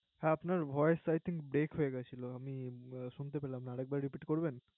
হ্যা আপনার Voice টা একটু Brake হয়ে যাচ্ছিলো। আমি শুনতে পারলাম না আর একবার Ripit করবেন